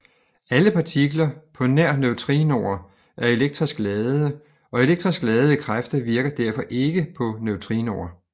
Alle partikler på nær neutrinoer er elektrisk ladede og elektriske kræfter virker derfor ikke på neutrinoer